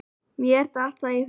Mér datt það í hug.